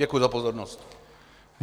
Děkuji za pozornost.